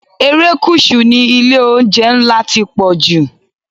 Erékùṣù ni ilé-oúnjẹ ńlá ti pọ̀jù.